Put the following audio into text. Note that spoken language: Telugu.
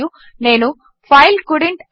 మరియు నేను ఫైల్ కోల్డెంట్